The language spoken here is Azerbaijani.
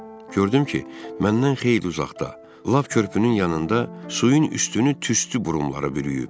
Gördüm ki, məndən xeyli uzaqda, lap körpünün yanında suyun üstünü tüstü burumları bürüyüb.